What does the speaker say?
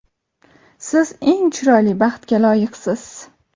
Siz eng chiroyli baxtga loyiqsiz.